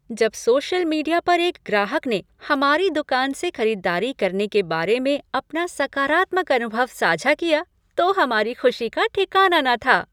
जब social media पर एक ग्राहक ने हमारी दुकान से खरीदारी करने के बारे में अपना सकारात्मक अनुभव साझा किया तो हमारी खुशी का ठिकाना न था।